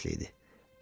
Bahar fəsli idi.